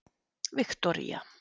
Viktoría